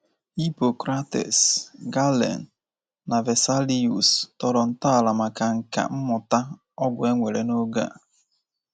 Hippocrates, Galen, na Vesalius tọrọ ntọala maka nkà mmụta ọgwụ e nwere n’oge a.